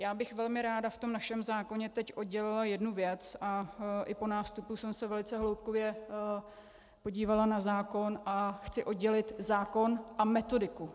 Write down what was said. Já bych velmi ráda v tom našem zákoně teď oddělila jednu věc, a i po nástupu jsem se velice hloubkově podívala na zákon a chci oddělit zákon a metodiku.